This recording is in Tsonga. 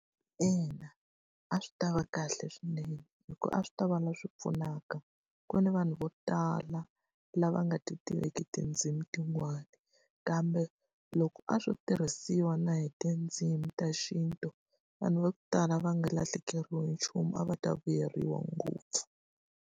Ina, a swi ta va kahle swinene hikuva a swi ta va lava leswi pfunaka. Ku na vanhu vo tala lava nga ti tiveki tindzimi tin'wana, kambe loko a swo tirhisiwa na hi tindzimi ta xintu vanhu va ku tala va nga lahlekeriwi hi nchumu. A va ta vuyeriwa ngopfu.